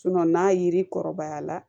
n'a yiri kɔrɔbaya la